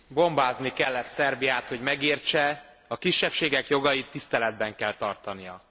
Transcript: Bombázni kellett Szerbiát, hogy megértse a kisebbségek jogait tiszteletben kell tartania.